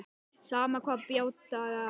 Sama hvað bjátaði á.